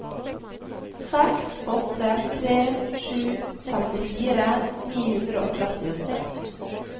seks åtte tre sju femtifire ni hundre og trettiåtte